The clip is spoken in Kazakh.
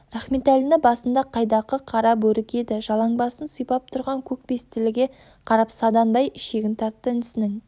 рахметәліні басында қайдақы қара бөрік еді жалаңбасын сипап тұрған көк бестіліге қарап саданбай ішегін тартты інісінің